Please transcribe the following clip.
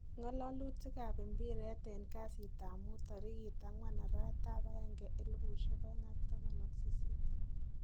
ngalalutik ab mpiret in kasit ab muut tarikit 04.01.2018